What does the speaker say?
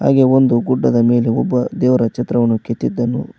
ಈ ಒಂದು ಗುಡ್ಡದ ಮೇಲೆ ಒಬ್ಬ ದೇವರ ಚಿತ್ರವನ್ನು ಕೆತ್ತಿದನ್ನು --